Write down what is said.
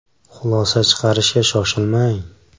Xulosa chiqarishga shoshilmang!